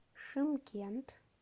шымкент